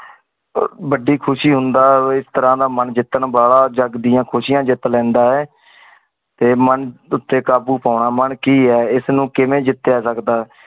ਆ ਵੱਡੀ ਖੁਸ਼ੀ ਹੁੰਦਾ ਆ ਇਸ ਤਰਾਂ ਦਾ ਮਨ ਜਿੱਤਣ ਵਾਲਾ ਜੱਗ ਦੀਆ ਖ਼ੁਸ਼ਿਯਾ ਜਿਤ ਲੈਂਦਾ ਆ ਤੇ ਮਨ ਉਤੇ ਕਾਬੂ ਪੋਣਾ ਮਨ ਕੀ ਆ ਇਸ ਨੂ ਕਿਵੇ ਜਿਤਿਆ ਸਕਦਾ